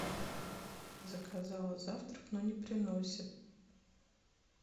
заказала завтрак но не приносят